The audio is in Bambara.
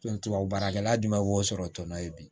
tubabu baarakɛla jumɛn b'o sɔrɔ tɔn ye bi